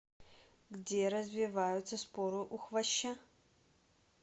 где развиваются споры у хвоща